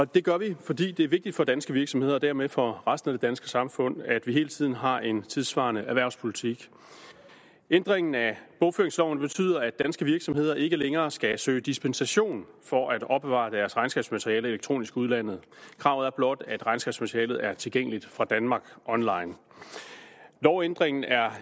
det gør vi fordi det er vigtigt for danske virksomheder og dermed for resten af det danske samfund at vi hele tiden har en tidssvarende erhvervspolitik ændringen af bogføringsloven betyder at danske virksomheder ikke længere skal søge dispensation for at opbevare deres regnskabsmateriale elektronisk i udlandet kravet er blot at regnskabsmaterialet er tilgængeligt fra danmark online lovændringen er